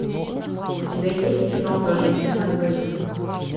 у тебя есть киноха жених на двоих